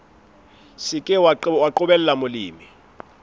se ke wa qobella molemi